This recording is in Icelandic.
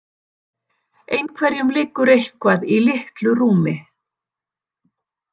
Einhverjum liggur eitthvað í litlu rúmi